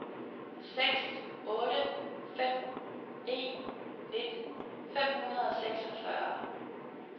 seks otte fem en nitten fem hundrede og seksogfyrre